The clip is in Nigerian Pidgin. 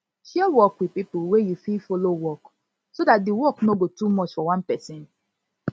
share work with pipo wey you fit follow work so dat di work no go too much for one person